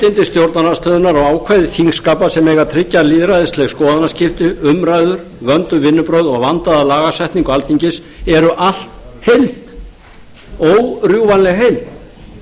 réttindi stjórnarandstöðunnar og ákvæði þingskapa sem eiga að tryggja lýðræðisleg skoðanaskipti umræður vönduð vinnubrögð og vandaða lagasetningu alþingis eru allt heild órjúfanleg heild